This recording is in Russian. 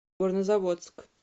горнозаводск